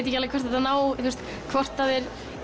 ekki hvort þeir